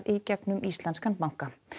í gegnum íslenskan banka